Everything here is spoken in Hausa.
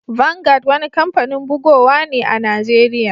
Vangad wani kampanin bugowa ne a'Nijeriya.